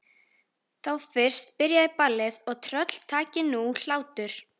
Þá fyrst byrjaði ballið og tröll taki nú hlátur.